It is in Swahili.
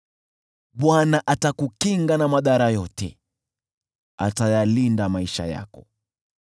Bwana atakukinga na madhara yote, atayalinda maisha yako,